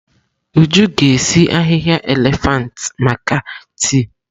Uju ga-esi ahihia elefantị maka tii.